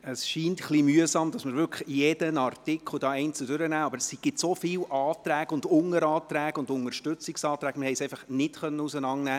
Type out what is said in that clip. Es ist etwas mühsam, dass wir jeden Artikel einzeln durchgehen, aber es gibt so viele Anträge, Unteranträge und Unterstützungsanträge – wir konnten sie nicht auseinandernehmen.